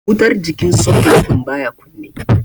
Wutar jikin soket din baya kunne.